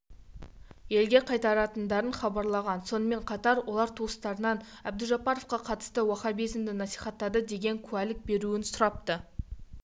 елге қайтаратындарын хабарлаған сонымен қатар олар туыстарынан әбдужаппаровқа қатысты уаххабизмді насихаттады деген куәлік берулерін сұрапты